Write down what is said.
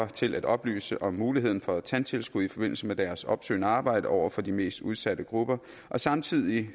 til at oplyse om muligheden for tandtilskud i forbindelse med deres opsøgende arbejde over for de mest udsatte grupper samtidig